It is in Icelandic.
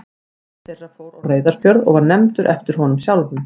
Einn þeirra fór á Reyðarfjörð og var nefndur eftir honum sjálfum.